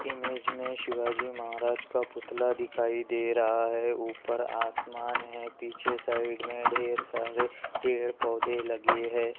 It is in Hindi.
इमेज मे शिवाजी महाराज का पुतला दिखाई दे रहा है ऊपर आसमान है पीछे साइड मे ढेर सारे पेड़ पौधे लगे है।